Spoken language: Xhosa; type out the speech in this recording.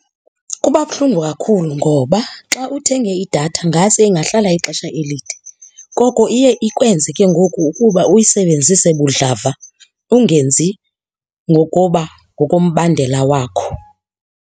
Kuba buhlungu kakhulu ngoba xa uthenge idatha ngase ingahlala ixesha elide. Koko iye ikwenze ke ngoku ukuba uyisebenzise budlava ungenzi ngokoba, ngokombandela wakho.